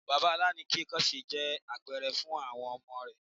Bàbá aláìníkanńṣe jẹ́ àpẹrẹ fún àwọn ọmọ rẹ̀.